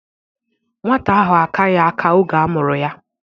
Nwata ahụ akaghị aka oge a mụrụ ya